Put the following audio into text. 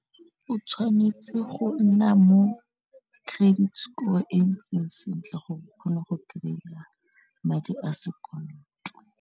O tshwanetse go nna mo credit score e ntseng sentle gore o kgone go kry-a madi a sekoloto.